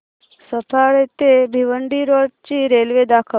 सफाळे ते भिवंडी रोड ची रेल्वे दाखव